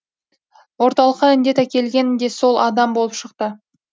орталыққа індет әкелген де сол адам болып шықты